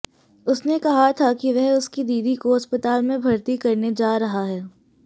उसने कहा था कि वह उसकी दीदी को अस्पताल में भर्ती करने जा रहा है